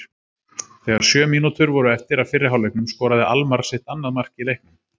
Þegar sjö mínútur voru eftir af fyrri hálfleiknum skoraði Almarr sitt annað mark í leiknum.